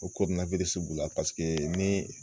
Ko b'u la paseke ni